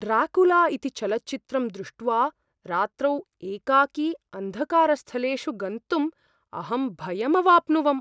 Dracula इति चलच्चित्रं दृष्ट्वा रात्रौ एकाकी अन्धकारस्थलेषु गन्त्तुम् अहं भयम् अवाप्नुवम्।